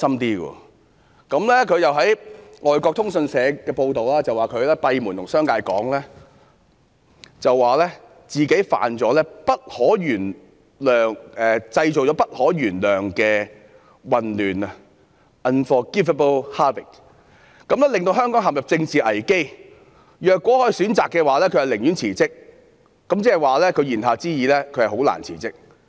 根據外國通訊社的報道，她閉門告訴商界自己製造了不可原諒的混亂，令香港陷入政治危機，如果可以選擇，她寧願辭職，言下之意是她很難辭職。